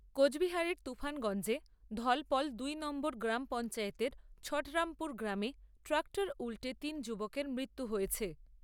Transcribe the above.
কোচবিহারের তুফানগঞ্জে ধলপল দুই নম্বর গ্রামপঞ্চায়েতের ছাটরামপুর গ্রামে ট্রাক্টর উল্টে তিন যুবকের মৃত্যু হয়েছে।